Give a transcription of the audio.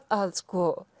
að